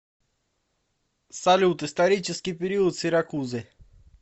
салют исторический период сиракузы